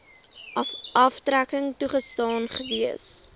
aftrekking toegestaan gewees